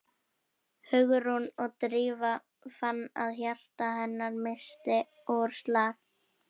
Hugrún og Drífa fann að hjarta hennar missti úr slag.